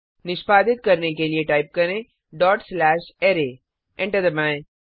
निष्पादित करने के लिए टाइप करें डॉट स्लैश अराय एंटर दबाएं